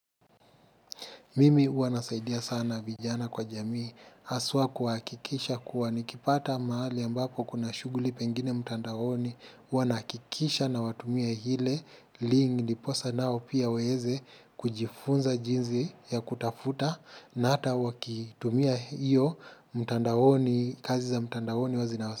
Mimi huwa nasaidia sana vijana kwa jamii, haswa kuhakikisha kuwa nikipata mahali ambapo kuna shughuli pengine mtandaoni, huwa nahakikisha nawatumia ile, link ndiposa nao pia waeze kujifunza jinsi ya kutafuta na hata wakitumia hiyo mtandaoni, kazi za mtandaoni huwa zinawasa.